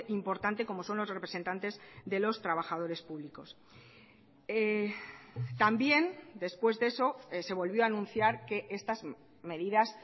importante como son los representantes de los trabajadores públicos también después de eso se volvió a anunciar que estas medidas